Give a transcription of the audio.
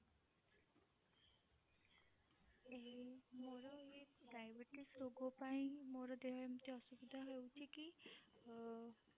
ଏଇ ମୋର ଏଇ diabetes ରୋଗ ପାଇଁ ମୋର ଦେହ ଏମିତି ଅସୁସ୍ଥ ହେଉଛି କି ଅ